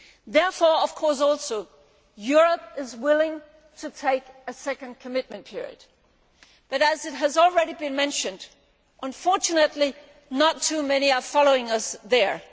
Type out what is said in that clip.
Therefore, of course, Europe is willing to take a second commitment period, but has already been mentioned, unfortunately not too many are following us there.